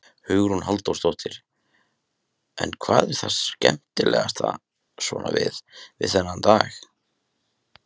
Hugrún Halldórsdóttir: En hvað er það skemmtilegasta svona við, við þennan dag?